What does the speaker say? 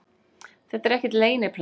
Þetta er ekkert leyniplagg